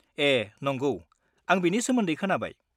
ए नंगौ, आं बेनि सोमोन्दै खोनाबाय।